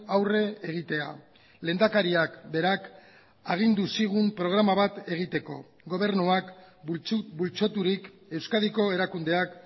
aurre egitea lehendakariak berak agindu zigun programa bat egiteko gobernuak bultzaturik euskadiko erakundeak